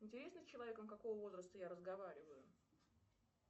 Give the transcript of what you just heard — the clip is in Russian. интересно с человеком какого возраста я разговариваю